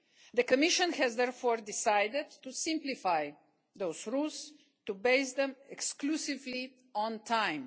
The Commission has therefore decided to simplify those rules and to base them exclusively on time.